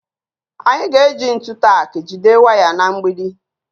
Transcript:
Anyị ga-eji ntu tak jide waya na mgbidi